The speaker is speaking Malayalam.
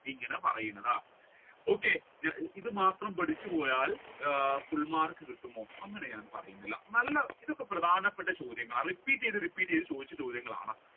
ഇങ്ങനെ പറയുന്നത്. okay ഇത് മാത്രം പഠിച്ചു പോയാൽ full മാർക്ക് കിട്ടുമോ അങ്ങനെ ഞാൻ പറഞ്ഞിട്ടില്ല നല്ല ഇതൊക്കെ പ്രധാനപ്പെട്ട ചോദ്യങ്ങളാണ് repeat ചെയ്ത് repeat ചെയ്ത് ചോദിച്ച ചോദ്യങ്ങളാണ്